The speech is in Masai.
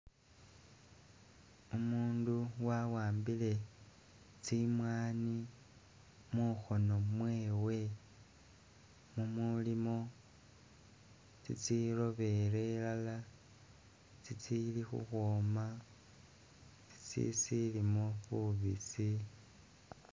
Umundu wawambile tsimwani mukhono mwewe mumulimo tsitsi robele elala, tsitsili khukhwoma, tsitsi silimo bubisi